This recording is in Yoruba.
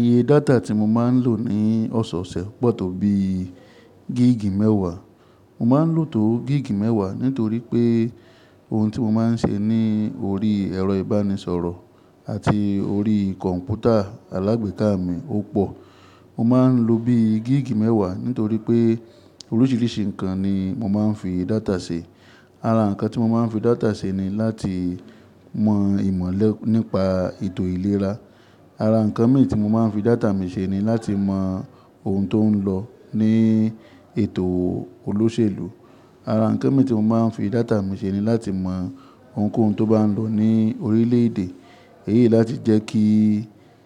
Iye data tí mo máa ń lò ní ọ̀sọ̀ọ̀sẹ̀ pọ̀ tó bí gíìgì mẹ́wàá. Mo máa ń lò tó gíìgì mẹ́wàá nítorí pé ohun tí mo máa ń ṣe ní orí ẹ̀rọ ìbánisọ̀rọ̀ àti orí kọ̀ǹpútà alágbèéká mi ó pọ̀. Mo má a ń lo bí i gíìgì mẹ́wàá nítorí pé oríṣìíríṣìí nǹkan ni mo má a ń fi data ṣe. Ara nǹkan tí mo má a ń fi data ṣe ni láti mọ ìmọ̀lẹ nípa ètò ìlera. Ara nǹkan mìíràn tí mo má a ń fi data mi ṣe ni láti mọ ohun tó ń lọ ní ètò olóṣèlú. Ara nǹkan mìíràn tí mo má a ń fi data mi ṣe ni láti mọ ohunkóhun tó bá ń lọ ní orílẹ̀ èdè. Èyí láti jẹ́ kí,